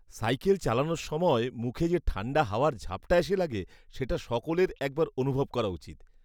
Cycle চালানোর সময় মুখে যে ঠাণ্ডা হাওয়ার ঝাপটা এসে লাগে, সেটা সকলের একবার অনুভব করা উচিৎ।